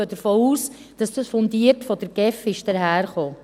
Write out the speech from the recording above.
Wir gehen davon aus, dass dies von der GEF fundiert daherkam.